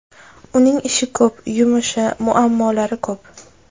Uning ishi ko‘p, yumushi, muammolari ko‘p.